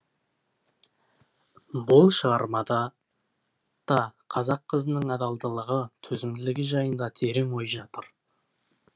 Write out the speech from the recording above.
бұл шығармада да қазақ қызының адалдылығы төзімділігі жайында терең ой жатыр